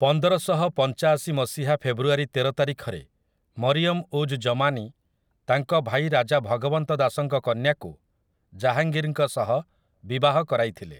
ପନ୍ଦରଶହପଞ୍ଚାଶି ମସିହା ଫେବୃଆରୀ ତେର ତାରିଖରେ ମରିୟମ୍ ଉଜ୍ ଜମାନୀ ତାଙ୍କ ଭାଇ ରାଜା ଭଗବନ୍ତ ଦାସଙ୍କ କନ୍ୟାକୁ ଜାହାଙ୍ଗୀରଙ୍କ ସହ ବିବାହ କରାଇଥିଲେ ।